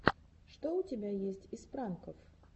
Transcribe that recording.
что у тебя есть из пранков